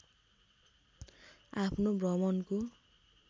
आफ्नो भ्रमणको